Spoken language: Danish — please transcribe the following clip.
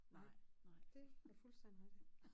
Nej dét er fuldstændig rigtig